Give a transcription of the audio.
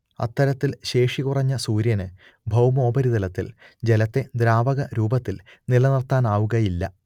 അത്തരത്തിൽ ശേഷി കുറഞ്ഞ സൂര്യന് ഭൗമോപരിതലത്തിൽ ജലത്തെ ദ്രാവക രൂപത്തിൽ നിലനിർത്താനാവുകയില്ല